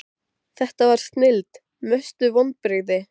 það var snilld Mestu vonbrigði?